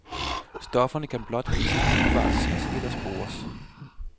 Stofferne kan blot ikke umiddelbart ses eller spores.